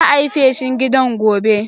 Za'a yi feshin gidan gobe.